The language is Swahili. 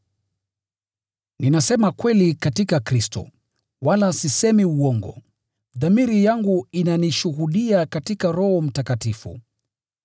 Ninasema kweli katika Kristo, wala sisemi uongo, dhamiri yangu inanishuhudia katika Roho Mtakatifu.